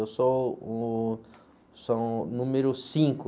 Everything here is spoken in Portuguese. Eu sou o, sou o número cinco.